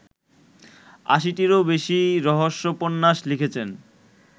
৮০-টিরও বেশী রহস্যোপন্যাস লিখেছেন